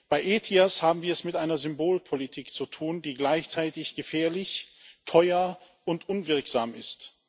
Bei ETIAS haben wir es mit einer Symbolpolitik zu tun, die gleichzeitig gefährlich, teuer und unwirksam ist.